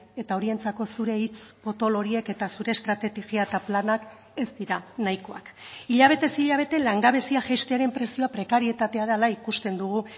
eta horientzako zure hitz potolo horiek eta zure estrategia eta planak ez dira nahikoak hilabetez hilabete langabezia jaistearen prezioa prekarietatea dela ikusten dugu